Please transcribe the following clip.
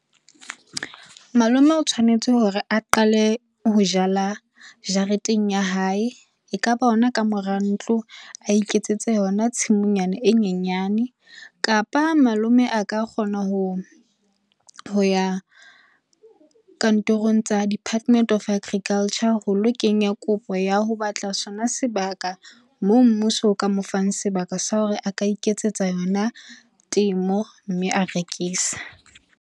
Malome o tshwanetse hore a qale ho jala jareteng ya hae. Ekaba ona ka mora ntlo a iketsetse yona tshimonyana e nyenyane, kapa malome a ka kgona hoya kantorong tsa Department of Agriculture ho lo kenya kopo ya ho batla sona sebaka moo mmuso ka mo fang sebaka sa hore a ka iketsetsa yona temo mme a rekisa.